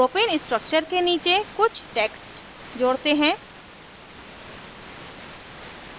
propane structure के नीचे कुछ text जोड़ते हैं